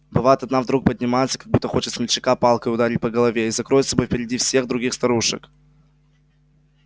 бывает одна вдруг поднимется как будто хочет смельчака палкой ударить по голове и закроет собой впереди всех других старушек